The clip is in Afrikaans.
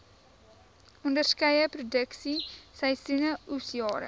onderskeie produksieseisoene oesjare